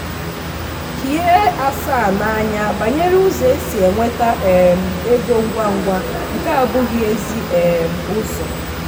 hie asa n'anya banyere ụzọ esi enweta um ego ngwa ngwa nke abụghị ezi um ụzọ.